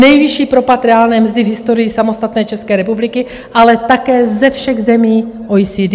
Nejvyšší propad reálné mzdy v historii samostatné České republiky, ale také ze všech zemí OECD.